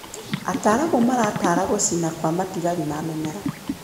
Ataaramu maratara gũcina kwa matigari ma mĩmera.